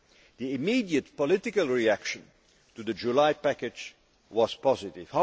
The immediate political reaction to the July package was positive.